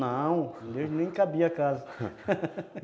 Não, nem cabia a casa